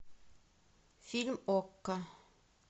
фильм окко